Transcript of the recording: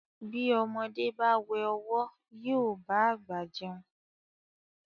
Bí ọmọdé bá wẹ ọ̀wọ́ yóò bá àgbà jẹun.